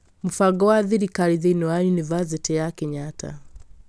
Mũbango wa thirikari thĩinĩ wa yunivasĩtĩ ya Kenyatta